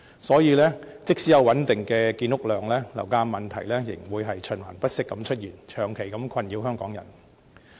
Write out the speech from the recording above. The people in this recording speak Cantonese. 所以，即使有穩定的建屋量，樓價問題仍會循環不息地出現，長期困擾香港人。